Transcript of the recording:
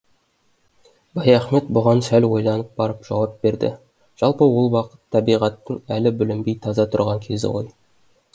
баяхмет бұған сәл ойланып барып жауап берді жалпы ол уақыт табиғаттың әлі бүлінбей таза тұрған кезі ғой